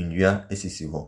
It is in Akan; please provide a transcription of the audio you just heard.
nnua esisi hɔ.